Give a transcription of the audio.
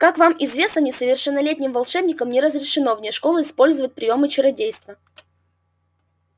как вам известно несовершеннолетним волшебникам не разрешено вне школы использовать приёмы чародейства